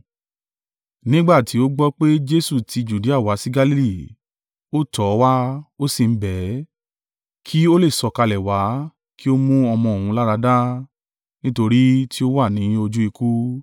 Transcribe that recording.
Nígbà tí ó gbọ́ pé Jesu ti Judea wá sí Galili, ó tọ̀ ọ́ wá, ó sì ń bẹ̀ ẹ́, kí ó lè sọ̀kalẹ̀ wá kí ó mú ọmọ òun láradá: nítorí tí ó wà ní ojú ikú.